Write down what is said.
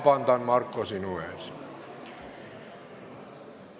Palun, Marko, sinult vabandust!